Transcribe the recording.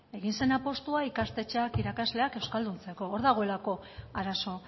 egin zen apustua ikastetxeak irakasleak euskalduntzeko hor dagoelako arazo